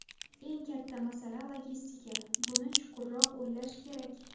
Eng katta masala logistika, buni chuqurroq o‘ylash kerak.